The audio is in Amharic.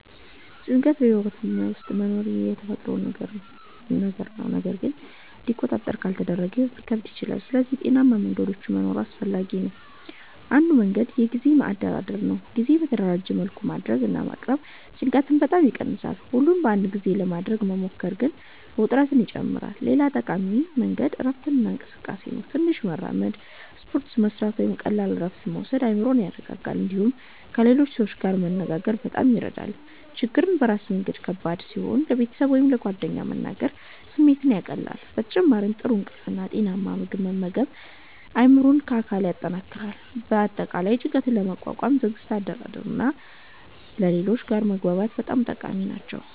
ጭንቀት በሕይወት ውስጥ መኖሩ የተፈጥሮ ነገር ነው፣ ግን እንዲቆጣጠር ካልተደረገ ሕይወት ሊከብድ ይችላል። ስለዚህ ጤናማ መንገዶች መኖር አስፈላጊ ነው። አንዱ መንገድ የጊዜ አደራደር ነው። ስራን በተደራጀ መልኩ ማድረግ እና ማቅረብ ጭንቀትን በጣም ይቀንሳል። ሁሉን በአንድ ጊዜ ለማድረግ መሞከር ግን ውጥረትን ይጨምራል። ሌላ ጠቃሚ መንገድ እረፍት እና እንቅስቃሴ ነው። ትንሽ መራመድ፣ ስፖርት መስራት ወይም ቀላል እረፍት መውሰድ አእምሮን ያረጋጋል። እንዲሁም ከሌሎች ሰዎች ጋር መነጋገር በጣም ይረዳል። ችግርን በራስ መያዝ ከባድ ሲሆን ለቤተሰብ ወይም ለጓደኞች መናገር ስሜትን ያቀላል። በተጨማሪም ጥሩ እንቅልፍ እና ጤናማ ምግብ መመገብ አእምሮን እና አካልን ያጠናክራል። በአጠቃላይ ጭንቀትን ለመቋቋም ትዕግስት፣ አደራደር እና ከሌሎች ጋር መግባባት በጣም ጠቃሚ ናቸው።